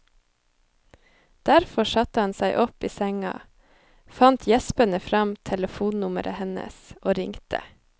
Derfor satte han seg opp i senga, fant gjespende fram telefonnummeret hennes og ringte.